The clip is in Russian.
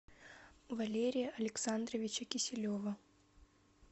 валерия александровича киселева